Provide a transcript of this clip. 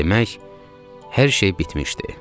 Demək, hər şey bitmişdi.